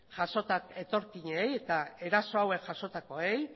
etorkinei eta eraso hauek jasotakoei